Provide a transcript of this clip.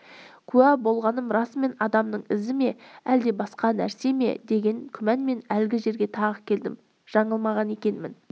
куә болғаным расымен адамның ізі ме әлде басқа нәрсе ме деген күмәнмен әлгі жерге тағы келдім жаңылмаған екенмін